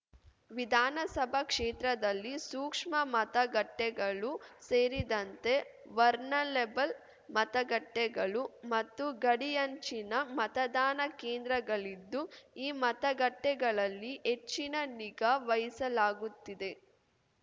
ವಿಧಾನಸಭಾ ಕ್ಷೇತ್ರದಲ್ಲಿ ಸೂಕ್ಷ್ಮ ಮತಗಟ್ಟೆಗಳು ಸೇರಿದಂತೆ ವರ್‍ಲನೇಬಲ್ ಮತಗಟ್ಟೆಗಳು ಮತ್ತು ಗಡಿಯಂಚಿನ ಮತದಾನ ಕೇಂದ್ರಗಳಿದ್ದು ಈ ಮತಗಟ್ಟೆಗಳಲ್ಲಿ ಹೆಚ್ಚಿನ ನಿಗಾ ವಹಿಸಲಾಗುತ್ತಿದೆ